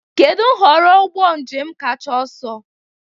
Kedu nhọrọ ụgbọ njem kacha ọsọ?